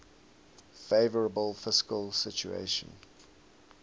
favourable fiscal situation